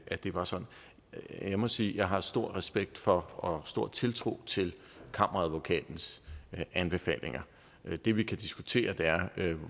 at det var sådan jeg må sige at jeg har stor respekt for og stor tiltro til kammeradvokatens anbefalinger det vi kan diskutere er